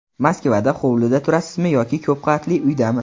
Moskvada hovlida turasizmi yoki ko‘p qavatli uydami?